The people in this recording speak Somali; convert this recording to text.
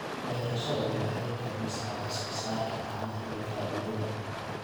Beerashadani waxay kordhisaa wax soo saarka caanaha iyo faa'iidada.